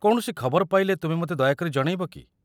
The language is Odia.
କୌଣସି ଖବର ପାଇଲେ ତୁମେ ମୋତେ ଦୟାକରି ଜଣେଇବ କି?